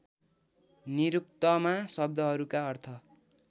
निरुक्तमा शब्दहरूका अर्थ